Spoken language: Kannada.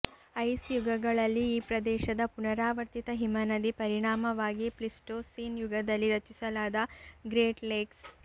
ಐಸ್ ಯುಗಗಳಲ್ಲಿ ಈ ಪ್ರದೇಶದ ಪುನರಾವರ್ತಿತ ಹಿಮನದಿ ಪರಿಣಾಮವಾಗಿ ಪ್ಲೀಸ್ಟೋಸೀನ್ ಯುಗದಲ್ಲಿ ರಚಿಸಲಾದ ಗ್ರೇಟ್ ಲೇಕ್ಸ್